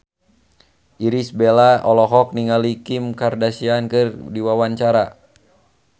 Irish Bella olohok ningali Kim Kardashian keur diwawancara